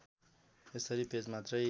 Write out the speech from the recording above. यसरी पेजमात्रै